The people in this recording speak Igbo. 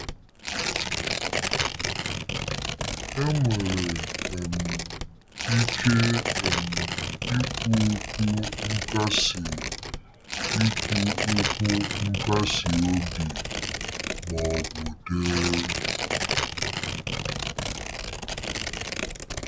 Enwere um ike um ikwu okwu nkasi ikwu okwu nkasi obi ma ọ bụ dee.